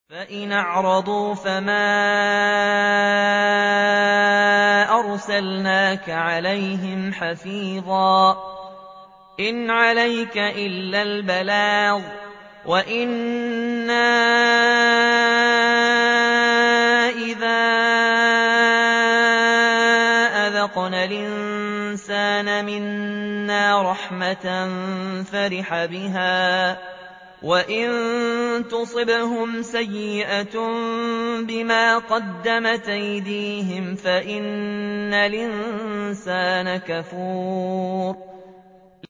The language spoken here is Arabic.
فَإِنْ أَعْرَضُوا فَمَا أَرْسَلْنَاكَ عَلَيْهِمْ حَفِيظًا ۖ إِنْ عَلَيْكَ إِلَّا الْبَلَاغُ ۗ وَإِنَّا إِذَا أَذَقْنَا الْإِنسَانَ مِنَّا رَحْمَةً فَرِحَ بِهَا ۖ وَإِن تُصِبْهُمْ سَيِّئَةٌ بِمَا قَدَّمَتْ أَيْدِيهِمْ فَإِنَّ الْإِنسَانَ كَفُورٌ